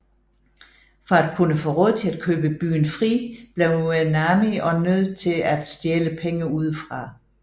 For at kunne få råd til at købe byen fri blev Nami også nødt til at stjæle penge udefra